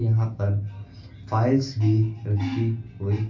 यहां पर फाइल्स भी रखी हुई--